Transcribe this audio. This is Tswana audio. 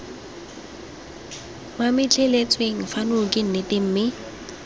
mametleletsweng fano ke nnete mme